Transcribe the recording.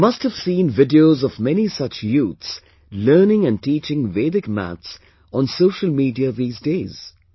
You must have seen videos of many such youths learning and teaching Vedic maths on social media these days